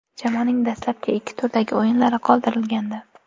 Jamoaning dastlabki ikki turdagi o‘yinlari qoldirilgandi.